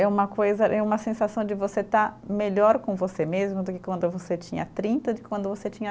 É uma coisa, é uma sensação de você estar melhor com você mesmo do que quando você tinha trinta, de quando você tinha